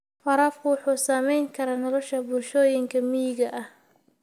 Waraabku wuxuu saamayn karaa nolosha bulshooyinka miyiga ah.